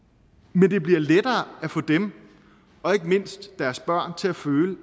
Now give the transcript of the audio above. men det bliver lettere at få dem og ikke mindst deres børn til at føle